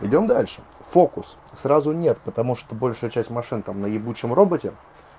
идём дальше фокус сразу нет потому что большая часть машинтам на ебучем роботе